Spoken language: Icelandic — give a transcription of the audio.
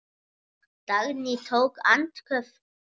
Dagný tók andköf.